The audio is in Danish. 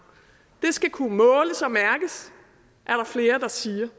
det skal kunne måles og mærkes er der flere der siger